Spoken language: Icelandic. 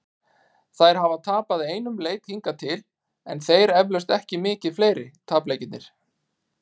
Þær hafa tapað einum leik hingað til, en þeir eflaust ekki mikið fleiri- tapleikirnir.